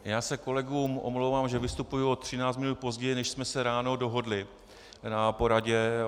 Já se kolegům omlouvám, že vystupuji o 13 minut později, než jsme se ráno dohodli na poradě.